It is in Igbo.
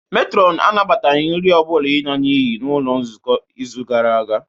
Matron anabataghị nri ọ bụla n'iyi n'ụlọ nzukọ n'izu gara aga